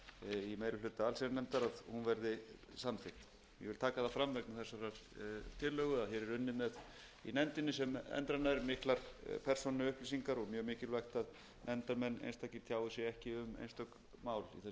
í meiri hluta allsherjarnefndar að hún verði samþykkt ég vil taka það fram vegna þessarar tillögu að unnið er í nefndinni sem endranær með miklar persónuupplýsingar og mjög mikilvægt að einstakir nefndarmenn tjái sig ekki um einstök mál í þessu tilliti þau eru hver um sig